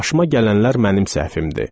Başıma gələnlər mənim səhvimdir.